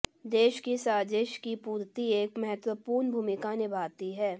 देश की साजिश की पूर्ति एक महत्वपूर्ण भूमिका निभाती है